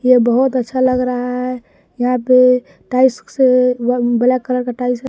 यह बहोत अच्छा लग रहा है यहां पे टाइल्स से ब्लैक कलर का टाइल्स --